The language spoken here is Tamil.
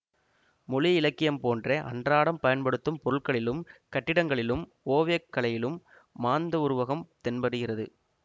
மொழி இலக்கியம் போன்றே அன்றாடம் பயன்படுத்தும் பொருட்களிலும் கட்டிடங்களிலும் ஓவியக்கலையிலும் மாந்தவுருவகம் தென்படுகிறது